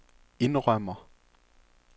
indrømmer